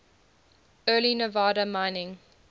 early nevada mining